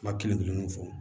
Ba kelen kelen mun fɔ